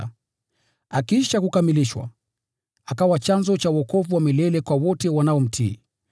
na akiisha kukamilishwa, akawa chanzo cha wokovu wa milele kwa wote wanaomtii.